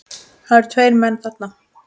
Það eru tveir menn þarna